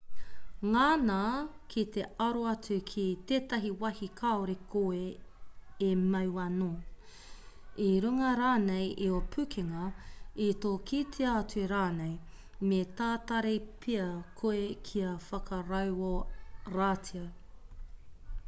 ngana ki te aro atu ki tētahi wāhi kāore koe e mau anō i runga rānei i ō pukenga i tō kitea atu rānei me tatari pea koe kia whakarauoratia